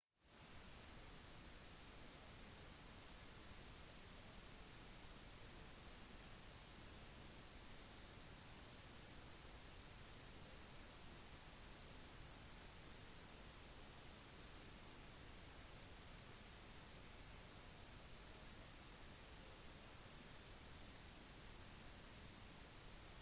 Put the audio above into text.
byen vi kjenner som casablanca i dag ble grunnlagt i det tiende århundre før vår tidsregning og ble brukt som en strategisk havn under navnet anfa av berberfiskere fønikerne romere og merenider